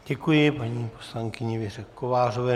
Děkuji paní poslankyni Věře Kovářové.